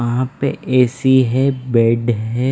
वहाँ पे एसी है बेड है --